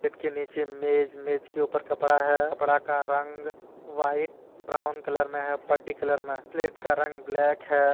Plate के नीचे मेज मेज के ऊपर कपड़ा है कपड़ा का रंग व्हाइट ब्राउन कलर मे है पट्टी कलर में प्लेट का रंग ब्लैक है।